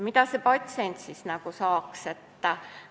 Mida see patsient siis saaks?